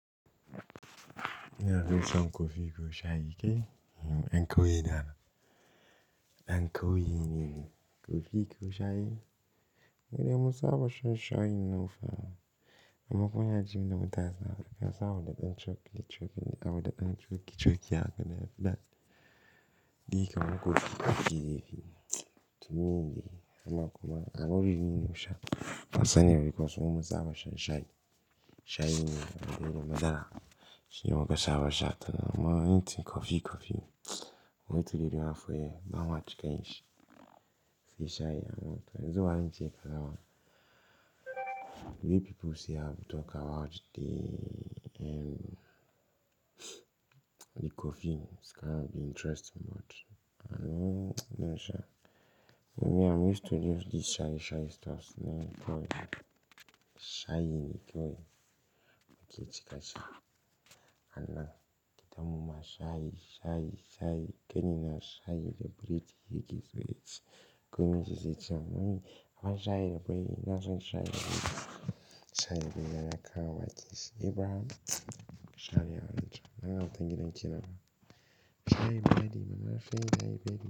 Ina fison kofi ko shayi kai? En ko ina Dan kaye ne ni. Kofi ko shayi? Ai mun saba shan shayin nan fa. Amma kuwa yaji mina mu taasa. Da ka sa a wada ɗan cokki cokki, a wada ɗan cokki cokki haka na fi da. Di kamun kofi kofi dai fi. To ni ne, amma kuma auri niyi ne shayi. Fa sani ne because mun musa abasha shayi. Shayi ne, dauke da madara. Shi mu ka saba sha ta. Amma in ci kofi kofi, mun wuce gidan mafoya, ba mu ha ci kai shi. Shi shayi amma to yanzu wa in ci ya kazawa. The way people say I've talked about the, um, the coffees can be interesting but I know, I know sha. Me I'm used to just this shayi shayi stuffs ne koyi. Shayi ne kawai. Mu ci cikashi. Ana keta muma shayi, shayi, shayi. Ke ni na shayi da British yake so yake. Kun min zai ci amani. Abin shayi da buri, na san shayi da buri. Shayi da yana kawa kis. Ibrahim shayi ya wuce. Na gama dangin dangin ce nawa. Shayi ba dai mana, shin shayi bai yi.